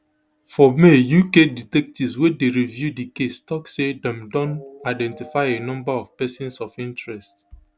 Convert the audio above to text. formay uk detectives wey dey review di case tok say dem don identify a number of persons of interest